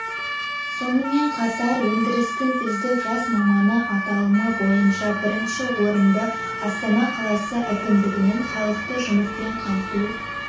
сонымен қатар өндірістің үздік жас маманы аталымы бойынша бірінші орынды астана қаласы әкімдігінің халықты жұмыспен қамту